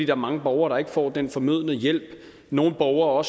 er mange borgere der ikke får den fornødne hjælp nogle borgere